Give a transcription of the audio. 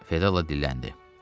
Fedella dilləndi.